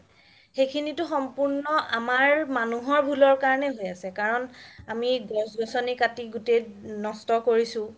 সেইখিনিতও সম্পূৰ্ণ আমাৰ মানুহৰ ভুলৰ কাৰণে হয় আছে কাৰণ আমি গছ গছ্নি কাতি গুতেই নস্ত কৰিছো